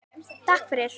Takk fyrir.